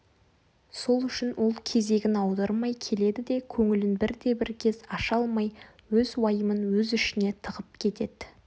сол үшін ол кезегін аудырмай келеді де көңілін бірде-бір кез аша алмай өз уайымын өз ішіне тығып кетеді